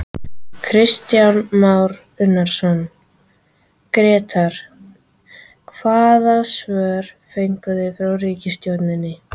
Kristján Már Unnarsson, Grétar hvaða svör fenguð þið frá ríkisstjórninni?